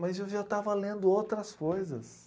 Mas eu já estava lendo outras coisas.